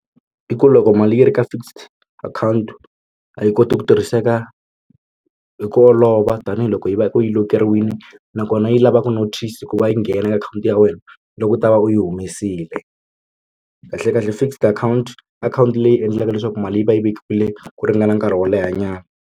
I ku loko mali yi ri ka fixed account a yi koti ku tirhiseka hi ku olova tanihiloko yi va u yi lock-eriwini nakona yi lava ku notice ku va yi nghena ka akhawunti ya wena loko u ta va u yi humesile kahle kahle fixed akhawunti akhawunti leyi endlaka leswaku mali yi va yi vekiwile ku ringana nkarhi wo lehanyana.